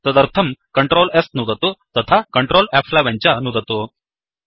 तदर्थं Ctrl Sनुदतु तथाCtrl F11च नुदतु